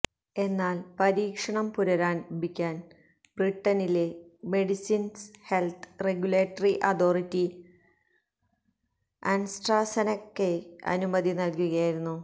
എന്നാല് പരീക്ഷണം പുനരാരംഭിക്കാന് ബ്രിട്ടനിലെ medicines health regulatory authority Astra സെനകയ്ക്ക് അനുമതി നല്കുകയായിരുന്നു